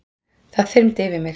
Það þyrmdi yfir mig.